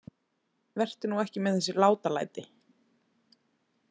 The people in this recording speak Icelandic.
Vertu nú ekki með þessi látalæti.